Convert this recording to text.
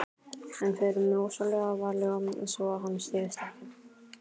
En förum rosalega varlega svo að hann styggist ekki.